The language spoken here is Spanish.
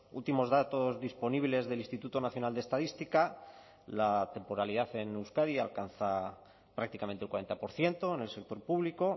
últimos datos disponibles del instituto nacional de estadística la temporalidad en euskadi alcanza prácticamente el cuarenta por ciento en el sector público